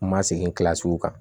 N ma segin kilasi kan